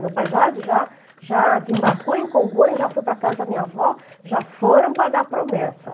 Meu pai já de já já desembarcou em Congonha, já foi para a casa da minha avó, já foram pagar promessa.